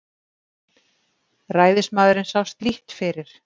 Ræðismaðurinn sást lítt fyrir.